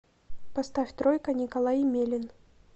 поставь тройка николай емелин